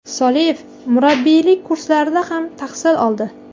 Soliyev murabbiylik kurslarida ham tahsil oldi.